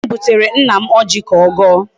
Nne m butere nna m ọjị ka ọ gọọ.